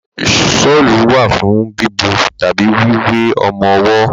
Ṣọ́lù wà fún bíbo tàbí wíwé ọmọwọ́.